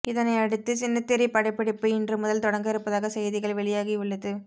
இதனை அடுத்து சின்னத்திரை படப்பிடிப்பு இன்று முதல் தொடங்க இருப்பதாக செய்திகள் வெளியாகி உள்ளது